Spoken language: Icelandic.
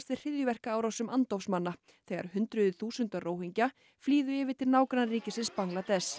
við hryðjuverkaárásum andófsmanna þegar hundruð þúsunda Róhingja flýðu yfir til nágrannaríkisins Bangladess